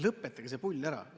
Lõpetage see pull ära!